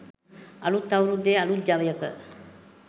අලුත් අවුරුද්දේ අලුත් ජවයක